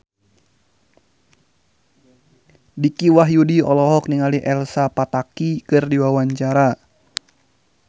Dicky Wahyudi olohok ningali Elsa Pataky keur diwawancara